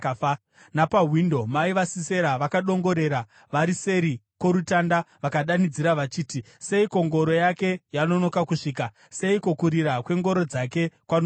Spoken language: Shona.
“Napawindo mai vaSisera vakadongorera; vari seri kworutanda, vakadanidzira vachiti, ‘Seiko ngoro yake yanonoka kusvika? Seiko kurira kwengoro dzake kwanonoka?’